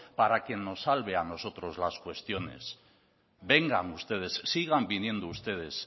para que nos salve a nosotros las cuestiones vengan ustedes sigan viniendo ustedes